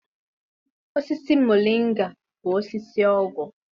Osisi moringa bụ osisi ọgwụ.